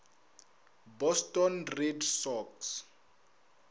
boston red sox